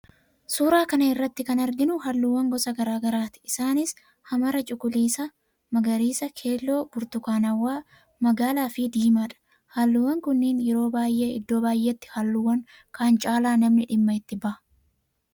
Suuraa kana irratti kan arginu halluuwwan gosa garaa garaati isaanis; hamara, cuqulisa, magariisa, keelloo, burtukaanawwaa, magaalaa fi diimadha. Halluuwwan kunniin yeroo baayyee iddoo baayyeetti halluuwwan kaan caalaa namni dhimma itti baha.